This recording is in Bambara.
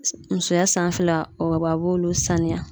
Musoya sanfɛla o b'olu sanuya